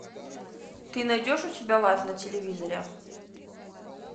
ты найдешь у себя лайф на телевизоре